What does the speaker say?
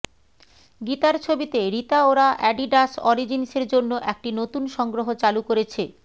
গীতার ছবিতে Rita Ora Adidas অরিজিন্সের জন্য একটি নতুন সংগ্রহ চালু করেছে